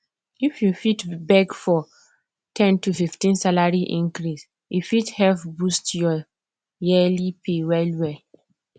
if you fit beg for ten to 15 salary increase e fit help boost your yearly pay well well